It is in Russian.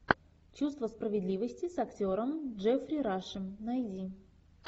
чувство справедливости с актером джеффри рашем найди